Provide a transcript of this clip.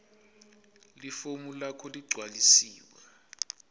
lifomu lakho leligcwalisiwe